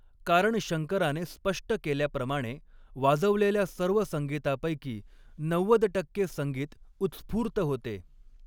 कारण, शंकराने स्पष्ट केल्याप्रमाणे, वाजवलेल्या सर्व संगीतापैकी नव्वद टक्के संगीत उत्स्फूर्त होते.